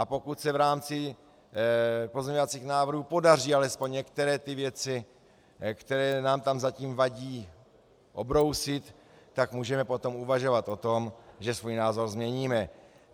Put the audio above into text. A pokud se v rámci pozměňovacích návrhů podaří alespoň některé ty věci, které nám tam zatím vadí, obrousit, tak můžeme potom uvažovat o tom, že svůj názor změníme.